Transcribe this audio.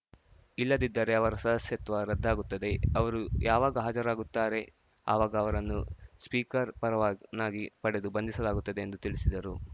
ಇಲ್ಲದಿದ್ದರೆ ಅವರ ಸದಸ್ಯತ್ವ ರದ್ದಾಗುತ್ತದೆ ಅವರು ಯಾವಾಗ ಹಾಜರಾಗುತ್ತಾರೆ ಆವಾಗ ಅವರನ್ನು ಸ್ಪೀಕರ್‌ ಪರವಾನಗಿ ಪಡೆದು ಬಂಧಿಸಲಾಗುತ್ತದೆ ಎಂದು ತಿಳಿಸಿದರು